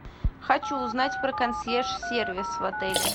хочу узнать про консьерж сервис в отеле